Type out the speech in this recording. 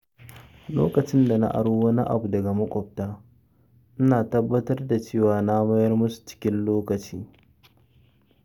Lokacin da na aro wani abu daga maƙwabta, ina tabbatar da cewa na mayar musu cikin lokaci.